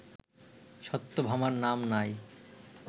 সত্যভামার নাম নাই